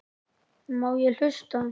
Má ég hlusta?